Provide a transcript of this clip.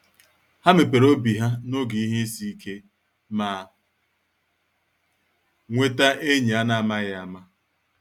Há mepere obi ha n’oge ihe isi ike, ma nweta enyi an’amaghị ama.